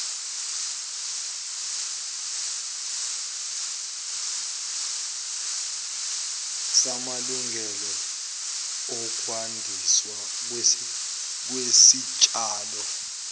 samalungelo okwandiswa kwesitshalo